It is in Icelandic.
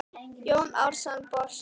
Jón Arason brosti dauft.